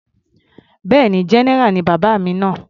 Bẹ́ẹ̀ni, general ni bàbá mi náà.